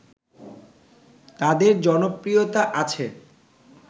তাদের জনপ্রিয়তা আছে